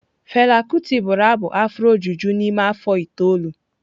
Fela kuti bụrụ abụ afro juju n'ime afọ itoolu.